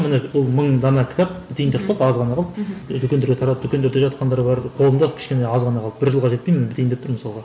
міне ол мың дана кітап бітейін деп қалды аз ғана қалды дүкендерге таратып дүкендерде жатқандар бар қолымда кішкене аз ғана қалды бір жылға жетпей міне бітейін деп тұр мысалға